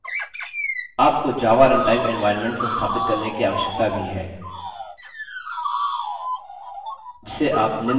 आपको java runtime environment संस्थापित करने की आवश्यकता भी है जिसे आप निम्न link से download कर सकते हैं